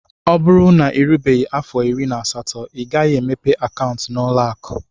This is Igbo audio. O bụrụ na irubeghi afọ irí na asatọ ighaghi emepe akauntu na ụlọ akụ.